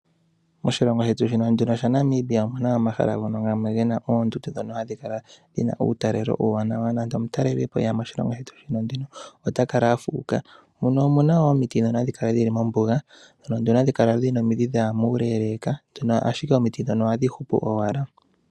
Moshilongo shetu shino Namibia omuna omahala ngono gena oondundu ndhono hadhi kala dhina uutalelo uuwanawa . Nande omutalelipo eya moshilongo shetu shino otakala afuuka. Muno omuna wo omiti ndhono hadhi kala dhili mombuga ano hadhi kala dhina omidhi dhaya muleeleeka, ashike omiti ndhono ohadhi hupu owala.